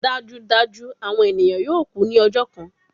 Dajudaju awọn eniyan yoo ku ni ọjọ kan